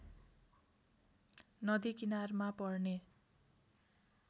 नदी किनारमा पर्ने